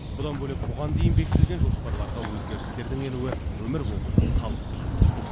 бұдан бөлек бұған дейін бекітілген жоспарларға өзгерістердің енуі өмір болған соң қалыпты жағдай